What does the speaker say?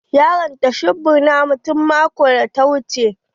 Ya ranta shebur na mu tun maƙon da ta wuche.